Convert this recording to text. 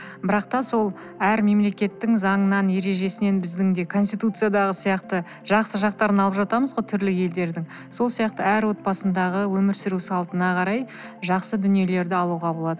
бірақ та сол әр мемлекеттің заңынан ережесінен біздің де конституциядағы сияқты жақсы жақтарын алып жатамыз ғой түрлі елдердің сол сияқты әр отбасындағы өмір сүру салтына карай жақсы дүниелерді алуға болады